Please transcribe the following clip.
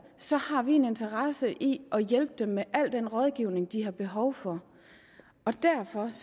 så har vi en interesse i at hjælpe dem med al den rådgivning de har behov for og derfor